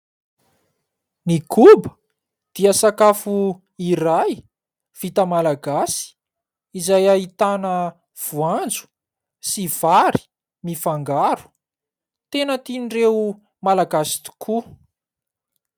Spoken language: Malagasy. Ny koba dia sakafo iray vita Malagasy izay ahitana voanjo sy vary mifangaro. Tena tian'ireo Malagasy tokoa.